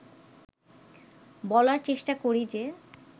বলার চেষ্টা করি যে